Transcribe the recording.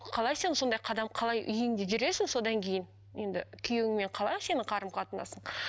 қалай сен сондай қадам қалай үйіңде жүресің содан кейін енді күйеуіңмен қалай сенің қарым қатынасың